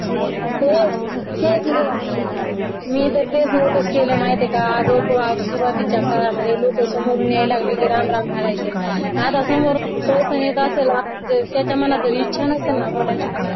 द्यायलेय मी तर तेच notice केलय माहिते का अगं सुरुवातीच्या काळामध्ये लोक समोरून यायला लागले की राम राम घालायचे. आणि आता समोरून समोरून कोणी घरी येत असेल आणि त्याच्या मनात जर इच्छा नसल ना बोलायची